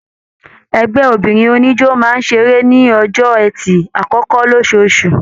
Ẹgbẹ obìnrin oníjó máa seré ní ọjọ ẹtì akọkọ losoosu.